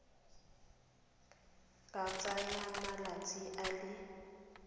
ka tsaya malatsi a le